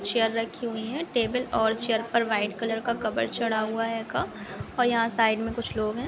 Chair रखी हुई है टेबल और चेर पर वाइट कलर का कवर चढ़ा हुआ हेगा और यहाँ साइक मैं कुछ लोग है।